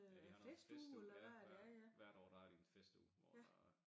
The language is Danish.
Ja de har noget festuge ja hver hvert år der har de en festuge hvor der er